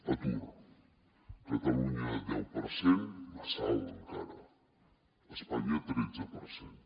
atur catalunya deu per cent massa alt encara espanya tretze per cent